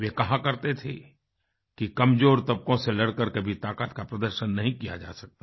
वे कहा करते थे कि कमज़ोर तबकों से लड़कर ताकत का प्रदर्शन नहीं किया जा सकता